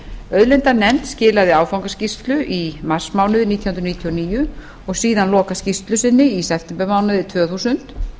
auðlindanefnd skilaði áfangaskýrslu í marsmánuði nítján hundruð níutíu og níu og síðan lokaskýrslu sinni í septembermánuði tvö þúsund